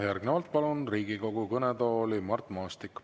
Järgnevalt palun Riigikogu kõnetooli Mart Maastiku.